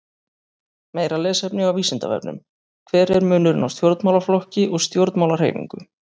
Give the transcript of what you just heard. Meira lesefni á Vísindavefnum: Hver er munurinn á stjórnmálaflokki og stjórnmálahreyfingu?